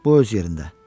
Bu öz yerində.